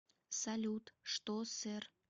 салют что сэр